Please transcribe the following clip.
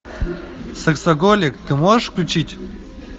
сексоголик ты можешь включить